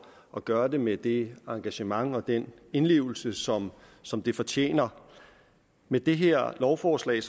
at gøre det med det engagement og den indlevelse som som det fortjener med det her lovforslag